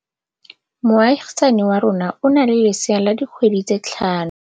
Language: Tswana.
Moagisane wa rona o na le lesea la dikgwedi tse tlhano.